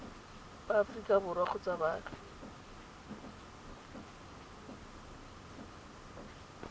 ba aforika borwa kgotsa baagi